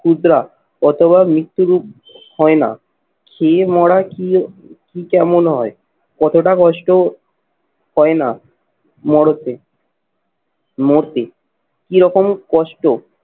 ক্ষুদ্রা অথবা মৃত্যুরূপ হয় না। খেয়ে মরা কি কি কেমন হয় অতটা কষ্ট হয় না মরদে মরতে। কি রকম কষ্ট?